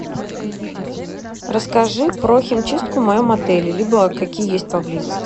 расскажи про химчистку в моем отеле либо какие есть поблизости